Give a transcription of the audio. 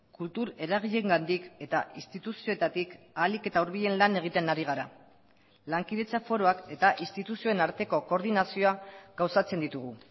kultur eragileengandik eta instituzioetatik ahalik eta hurbilen lan egiten ari gara lankidetza foroak eta instituzioen arteko koordinazioa gauzatzen ditugu